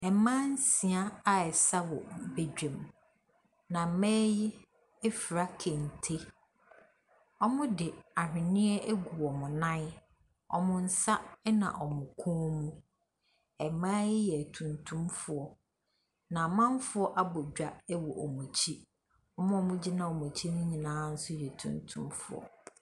Mmaa nsia resa wɔ badwam, na mmaa yi afura kente. Wɔde ahwenneɛ agu wɔn nan, wɔn nsa na wɔn kɔn mu. Mmaa yi yɛ atuntum, na amanfoɔ abɔ dwa wɔn wɔn akyi. Wɔn a wɔgyina wɔn akyi nso nyinaa yɛ atuntum.